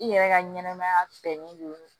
I yɛrɛ ka ɲɛnɛmaya bɛnnen don